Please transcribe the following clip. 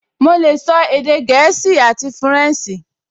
Mo lè sọ èdè gẹ̀ẹ́sì àti fúrẹ̀nsì